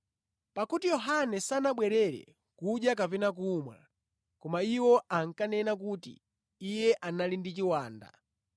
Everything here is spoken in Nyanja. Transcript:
Pakuti Yohane sanabwerere kudya kapena kumwa koma iwo ankanena kuti, ‘Iye anali ndi chiwanda.’